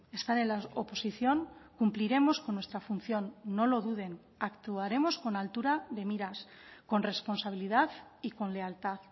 estar en la oposición cumpliremos con nuestra función no lo duden actuaremos con altura de miras con responsabilidad y con lealtad